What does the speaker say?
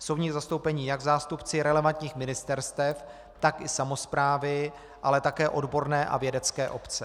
Jsou v ní zastoupeni jak zástupci relevantních ministerstev, tak i samosprávy, ale také odborné a vědecké obce.